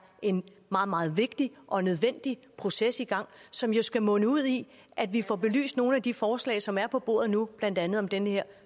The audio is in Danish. en meget meget vigtig og nødvendig proces i gang som jo skal munde ud i at vi får belyst nogle af de forslag som er på bordet nu blandt andet om den her